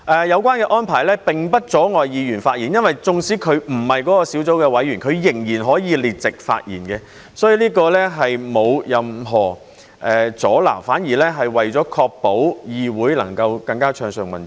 有關安排並不阻礙議員發言，因為縱使議員不是該小組的委員，仍然可以列席發言，所以這並沒有任何阻撓，反而確保議會能夠更加暢順運作。